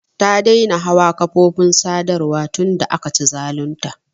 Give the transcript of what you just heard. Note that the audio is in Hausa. Ta daina hawa kafofin sadarwa tun da aka ci zalun ta.